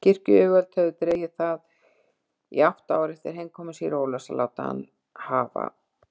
Kirkjuyfirvöld höfðu dregið það í átta ár eftir heimkomu síra Ólafs að láta hann hafa